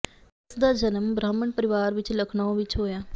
ਇਸ ਦਾ ਜਨਮ ਬ੍ਰਾਹਮਣ ਪਰਿਵਾਰ ਵਿੱਚ ਲਖਨਊ ਵਿੱਚ ਹੋਇਆ